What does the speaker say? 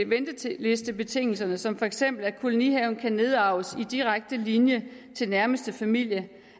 ventelistebetingelserne som for eksempel at kolonihaven kan nedarves i direkte linje til nærmeste familie